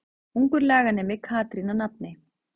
Ungur laganemi Katrín að nafni.